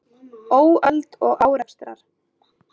Óöld og árekstrar